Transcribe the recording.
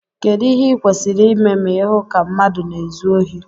kedu ìhè ịkwésiri ịmé ma ịhụ ka mmadu na-ézu ohi?